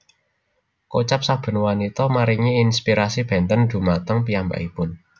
Kocap saben wanita maringi inspirasi bénten dhumateng piyambakipun